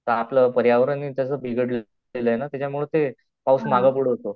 तर आपलं पर्यावरण कसं बिघडलेल आहे ना त्याच्या मुळे ते पाऊस माग पुढं होतो.